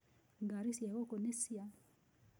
Ngari cia gũkũ nĩ cia.